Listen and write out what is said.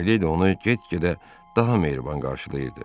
Mileydi onu get-gedə daha mehriban qarşılayırdı.